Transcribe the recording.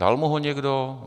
Dal mu ho někdo?